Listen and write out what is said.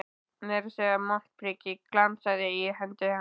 Meira að segja montprikið glansaði í hendi hans.